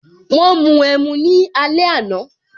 Wọn mu ẹmu ní alẹ àná